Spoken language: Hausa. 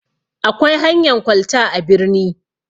Akwai hanyan kwalta a birni.